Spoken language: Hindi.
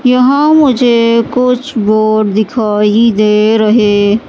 यहाँ मुझे कुछ बोर्ड दिखाई दे रहें--